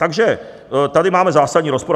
Takže tady máme zásadní rozpor.